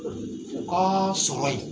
U ka sɔmɔ in